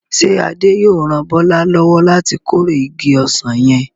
Ṣé Adé yóò ran Bọ́lá lọ́wọ́ láti kórè igi ọsàn yẹn?